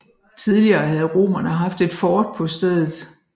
Tidligere havde romerne haft et fort på stedet